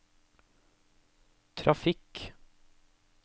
trafikk